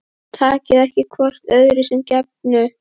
Takið ekki hvort öðru sem gefnu